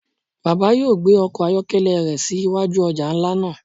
Baba yóò gbe ọkọ ayọkẹlẹ rẹ si iwaju ọja nla naa